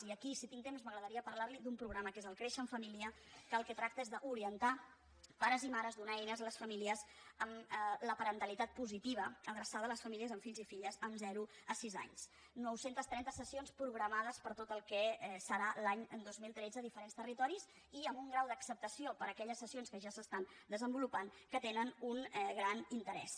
i aquí si tinc temps m’agradaria parlar li d’un programa que és el créixer en família que del que tracta és d’orientar pares i mares donar eines a les famílies amb la parentalitat positiva adreçat a les famílies amb fills i filles de zero a sis anys nou cents i trenta sessions programades per a tot el que serà l’any dos mil tretze a diferents territoris i amb un grau d’acceptació per aquelles sessions que ja s’estan desenvolupant que tenen un gran interès